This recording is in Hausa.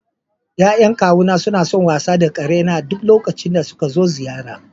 Ya'yan kawuna suna son wasa da karena a duk lokacin da suka zo ziyara.